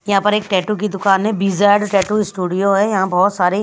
यहाँ पर एक टैटू की दुकान है बीजेड टैटू स्टूडियो है यहाँ बहुत सारे--